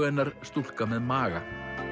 hennar stúlka með maga